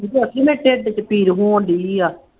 ਚਾਚੀ ਮੈਂ ਢਿੱਡ ਚ ਪੀੜ ਹੋਣਡੀ ਆ